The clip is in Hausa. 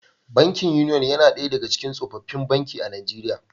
Bankin Union yana daya daga cikin tsofaffin banki a Najeriya